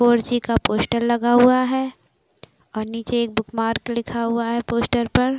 four -G का poster लगा हुआ है और नीचे एक बुक मार्क लिखा हुआ है पोस्टर पर --